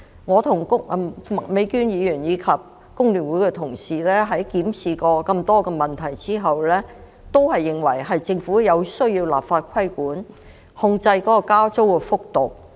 我與麥美娟議員及香港工會聯合會的同事檢視了多個問題後，均認為政府需要立法規管，控制加租幅度。